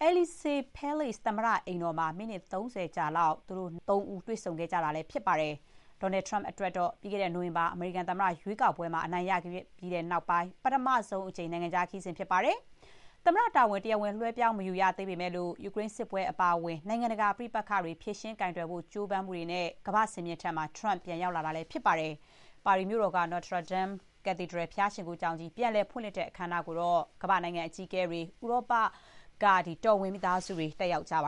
အယ်လီဇေး Elysee Palace သမ္မတ အိမ်တော်မှာ မိနစ် ၃၀ လောက်ကြာလောက် သူတို့သုံးဦး တွေ့ခဲ့ကြတာ ဖြစ်ပါတယ်။ Donlad Trump အတွက်တော့ ပြီးခဲ့တဲ့ နိုဝင်ဘာ အမေရိကန်သမ္မတ ရွေးကောက်ပွဲမှာ အနိုင်ရခဲ့ပြီးနောက်ပိုင်း ပထမဆုံး နိုင်ငံခြား ခရီးစဉ်ဖြစ်ပါတယ်။ သမ္မတတာဝန် တရားဝင် လွှဲပြောင်း မယူရသေးပေမဲ့လို့ ယူကရိန်းစစ်ပွဲ အပါအဝင် နိုင်ငံတကာ ပဋိပက္ခတွေ ဖြေရှင်းကိုင်တွယ်ဖို့ ကြိုးပမ်းမှုတွေနဲ့ ကမ္ဘာ့စင်မြင့်ထက် Trump ပြန်ရောက်လာတာလည်း ဖြစ်ပါတယ်။ ပါရီမြို့တော်က Notre Dame Cathedral ဘုရားရှိခိုးကျောင်းကြီး ပြန်လည်ဖွင့်လှစ်တဲ့ အခမ်းအနားကိုတော့ ကမ္ဘာ့နိုင်ငံ အကြီးအကဲတွေ၊ ဥရောပတော်ဝင် မိသားစုဝင်တွေ တက်ရောက်ကြပါ